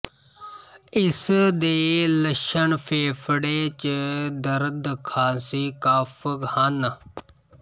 ਇਸ ਦੇ ਲੱਛਣ ਫੇਫੜੇ ਚ ਦਰਦ ਖ਼ਾਸੀ ਕਫ਼ ਹਨ